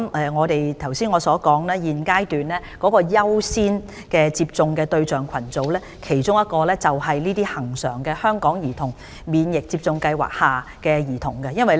我剛才所指現階段優先接種疫苗的其中一個對象群組，就是恆常的香港兒童免疫接種計劃下的兒童。